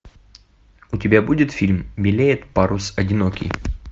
у тебя будет фильм белеет парус одинокий